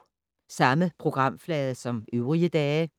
Samme programflade som øvrige dage